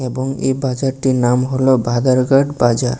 এবং এই বাজারটির নাম হলো বাধারঘাট বাজার।